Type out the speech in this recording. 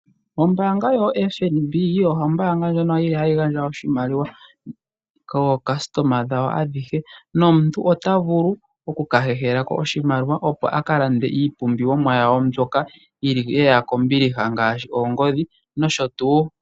Ombanga yoFNB oyo ombanga ndjono hayi gandja oshimaliwa kookasitoma dhawo adhihe nomuntu ota vulu okahehela ko oshimaliwa opo aka lande iipumbiwomwa yawo mbyoka yili ye ya kombiliha ngaashi oongodhi noshotuu.